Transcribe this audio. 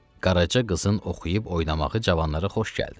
Qaraçı qızın oxuyub oynamağı cavanlara xoş gəldi.